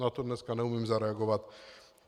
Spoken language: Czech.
Na to dneska neumím zareagovat.